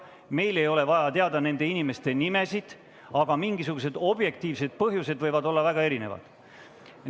Meil ei ole vaja teada nende inimeste nimesid, aga mingisugused objektiivsed põhjused võivad olla väga erinevad.